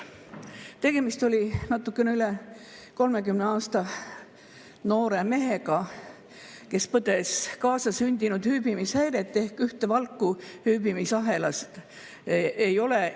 Tegemist oli natukene üle 30‑aastase noore mehega, kes põdes kaasasündinud hüübimishäiret ehk tal ühte valku hüübimisahelas ei olnud.